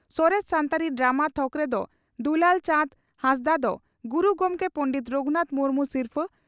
ᱥᱚᱨᱮᱥ ᱥᱟᱱᱛᱟᱲᱤ ᱰᱨᱟᱢᱟ ᱛᱷᱚᱠᱨᱮ ᱰᱨᱹ ᱫᱩᱞᱟᱞ ᱪᱟᱸᱫᱽ ᱦᱟᱸᱥᱫᱟᱜ ᱫᱚ ᱜᱩᱨᱩ ᱜᱚᱢᱠᱮ ᱯᱚᱸᱰᱮᱛ ᱨᱟᱹᱜᱷᱩᱱᱟᱛᱷ ᱢᱩᱨᱢᱩ ᱥᱤᱨᱯᱷᱟᱹ